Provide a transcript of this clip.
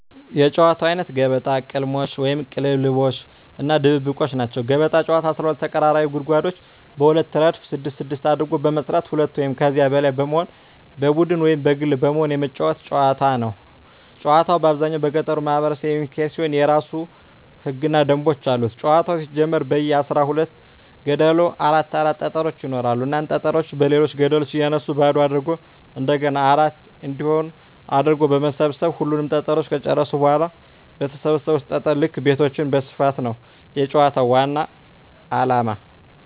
የጨዋታወች አይነት ገበጣ፣ ቅልሞሽ(ቅልልቦሽ) እና ድብብቆሽ ናቸዉ። ገበጣ ጨዋታ 12 ተቀራራቢ ጉድጓዶችን በሁለት እረድፍ ስድስት ስድስት አድርጎ በመስራት ሁለት ወይም ከዚያ በላይ በመሆን በቡድን ወይም በግል በመሆን የመጫወቱት ጨዋታ ነዉ። ጨዋታዉ በአብዛኛዉ በገጠሩ ማህበረሰብ የሚካሄድ ሲሆን የእራሱ የሆኑ ህገ ደንቦችም አሉት ጨዋታዉ ሲጀመር በየ አስራ ሁለት ገደሉ አራት አራት ጠጠሮች ይኖራሉ እናም ጠጠሮችን በሌሎች ገደሎች እያነሱ ባዶ አድርጎ እንደገና አራት እንዲሆን አድርጎ በመሰብ ሰብ ሁሉንም ጠጠሮች ከጨረሱ በኋላ በሰበሰቡት ጠጠር ልክ ቤቶችን መስፋት ነዉ የጨዋታዉ ዋናዉ አላማ።